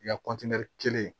I ka kelen